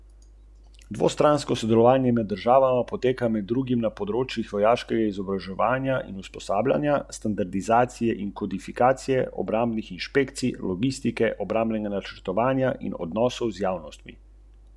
Glede na to, da je Slovenija postala evropski prvak, so bile vse njegove poteze pravilne.